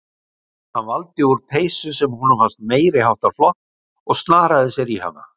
Hann valdi úr peysu sem honum fannst meiri háttar flott og snaraði sér í hana.